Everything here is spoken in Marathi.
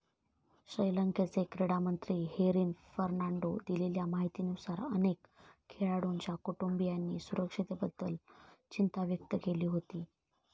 श्रीलंकेचे क्रीडामंत्री हेरिन फर्नांडो दिलेल्या माहितीनुसार, अनेक खेळाडूंच्या कुटुंबियांनी सुरक्षेबद्दल चिंता व्यक्त केली होती.